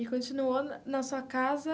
E continuou na na sua casa?